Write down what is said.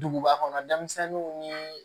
Duguba kɔnɔ denmisɛnninw ni